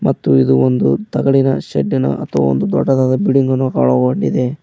ಮತ್ತು ಇದು ಒಂದು ತಗಡಿನ ಶೆಡ್ಡಿನ ಮತ್ತು ದೊಡ್ಡದಾದ ಬಿಲ್ಡಿಂಗ್ ಅನ್ನು ಒಳಗೊಂಡಿದೆ.